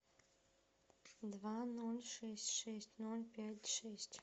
два ноль шесть шесть ноль пять шесть